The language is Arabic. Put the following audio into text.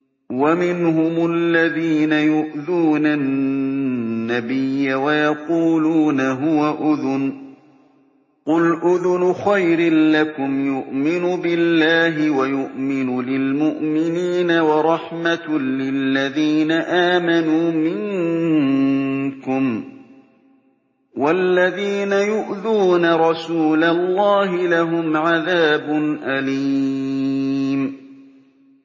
وَمِنْهُمُ الَّذِينَ يُؤْذُونَ النَّبِيَّ وَيَقُولُونَ هُوَ أُذُنٌ ۚ قُلْ أُذُنُ خَيْرٍ لَّكُمْ يُؤْمِنُ بِاللَّهِ وَيُؤْمِنُ لِلْمُؤْمِنِينَ وَرَحْمَةٌ لِّلَّذِينَ آمَنُوا مِنكُمْ ۚ وَالَّذِينَ يُؤْذُونَ رَسُولَ اللَّهِ لَهُمْ عَذَابٌ أَلِيمٌ